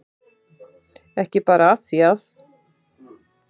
Ekki bara af því að